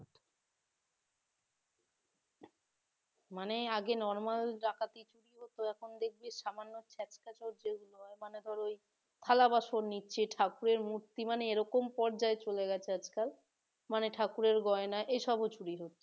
মানে আগে normal ডাকাতি চুরি হতো এখন দেখছি সামান্য ছেসরা চোরদের মনে কর ওই থালাবাসন নিচ্ছে ঠাকুরের মূর্তি মানে কোন পর্যায়ে চলে গেছে আজকাল মানে ঠাকুরের গয়না এসব ও চুরি হচ্ছে